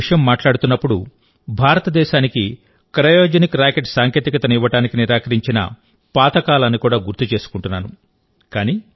మీతో ఈ విషయం మాట్లాడుతున్నప్పుడుభారతదేశానికి క్రయోజెనిక్ రాకెట్ సాంకేతికతను ఇవ్వడాన్ని నిరాకరించిన పాత కాలాన్ని కూడా గుర్తు చేసుకుంటున్నాను